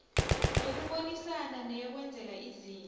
yokubonisana neyokwenzela izinto